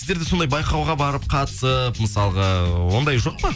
сіздер де сондай байқауға барып қатысып мысалға оңдай жоқ па